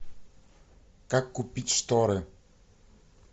как купить шторы